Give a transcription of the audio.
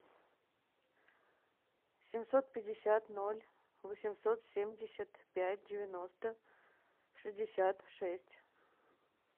семьсот пятьдесят ноль восемьсот семьдесят пять девяносто шестьдесят шесть